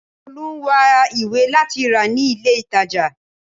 Tolu ń wá ìwé láti rà ní ilé ìtàjà.